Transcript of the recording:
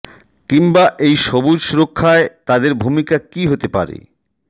কিংবা এই সবুজ সুরক্ষায় তাদের ভূমিকা কী হতে পারে